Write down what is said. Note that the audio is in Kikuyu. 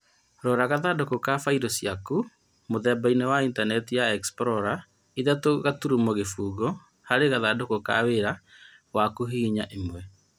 Rora gathandũkũ ka failo ciaku mũthembanĩ wa intanenti ya explorer ithatũ gaturumo kĩfũgũ harĩ gathandũkũ ka wĩra waku hihinya ĩmwe.